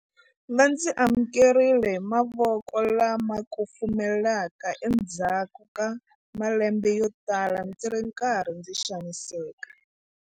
Va ndzi amukerile hi mavoko lama kufumelaka endzhaku ka malembe yotala ndzi ri karhi ndzi xaniseka.